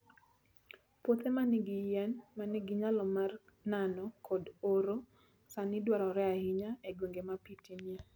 Puothe ma nigi yien ma nigi nyalo mar nano kod oro, sani dwarore ahinya e gwenge ma pi tinie.